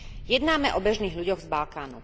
Jednáme o bežných ľuďoch z Balkánu.